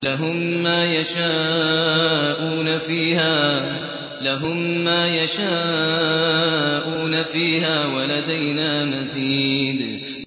لَهُم مَّا يَشَاءُونَ فِيهَا وَلَدَيْنَا مَزِيدٌ